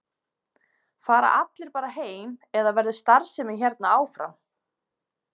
Fara allir bara heim eða verður starfsemi hérna áfram?